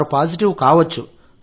వారు పాజిటివ్ కావచ్చు